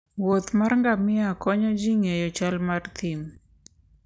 wuoth mar ngamia konyo ji ng'eyo chal mar thim